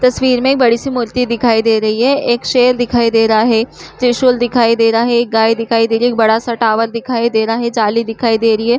तस्वीर में एक बड़ी सी मूर्ति दिखाई दे रही है एक शेर दिखाई दे रहा है त्रिशूल दिखाई दे रहा है एक गाय दिखाई दे एक बड़ा सा टावर दिखाई दे रहा है जाली दिखाई दे रही है ।